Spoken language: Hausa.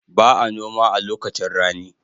Ba a noma a lokacin rani.